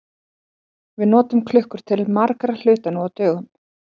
Við notum klukkur til margra hluta nú á dögum.